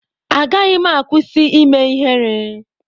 Agaghị m akwụsị ime ihere.